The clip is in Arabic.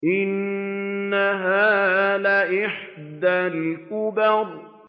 إِنَّهَا لَإِحْدَى الْكُبَرِ